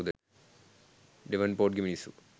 ඩෙවන්පෝර්ට්ගේ මිනිස්සු